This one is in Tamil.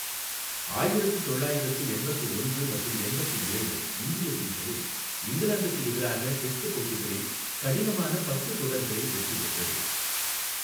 ஆயிரத்து தொள்ளாயிரத்து எண்பத்து ஒன்று மற்றும் எண்பத்து இரண்டு இந்திய சீசனில் இங்கிலாந்துக்கு எதிராக டெஸ்ட் போட்டிகளில் கடினமான பத்து தொடர்களில் வெற்றி பெற்றது.